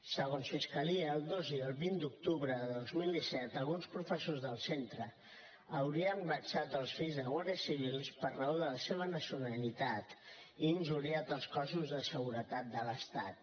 segons fiscalia el dos i el vint d’octubre de dos mil disset alguns professors del centre haurien vexat els fills de guàrdies civils per raó de la seva nacionalitat i injuriat els cossos de seguretat de l’estat